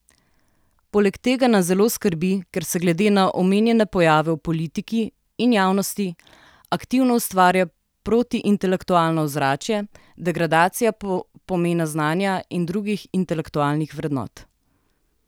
Poleg tega nas zelo skrbi, ker se glede na omenjene pojave v politiki in javnosti aktivno ustvarja protiintelektualno ozračje, degradacija pomena znanja in drugih intelektualnih vrednot.